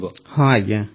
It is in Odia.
ପ୍ରେମ୍ ଜୀ ହଁ ଆଜ୍ଞା